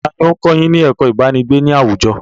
Taàní ó ń kọ́ yín ní ẹ̀kó ibanigbe ni àwùjọ?